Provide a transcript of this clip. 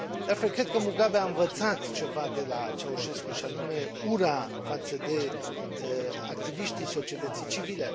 De altfel, cred că Mugabe a învățat ceva de la Ceaușescu, și anume ura față de activiștii societății civile.